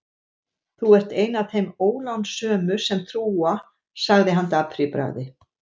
Þú ert ein af þeim ólánsömu sem trúa sagði hann dapur í bragði.